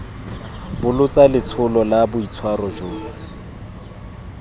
bolotsa letsholo la boitshwaro jo